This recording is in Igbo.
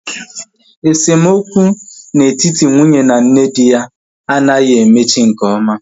Esemokwu na etiti nwunye na nne di ya anaghị emechi nke ọma